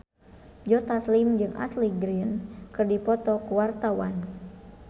Joe Taslim jeung Ashley Greene keur dipoto ku wartawan